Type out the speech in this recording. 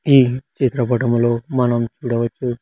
ఈ చిత్ర పటములో మనం చూడవచ్చు.